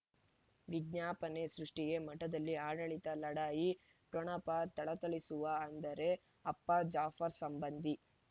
ವಿಜ್ಞಾಪನೆ ಸೃಷ್ಟಿಗೆ ಮಠದಲ್ಲಿ ಆಡಳಿತ ಲಢಾಯಿ ಠೊಣಪ ಥಳಥಳಿಸುವ ಅಂದರೆ ಅಪ್ಪ ಜಾಫರ್ ಸಂಬಂಧಿ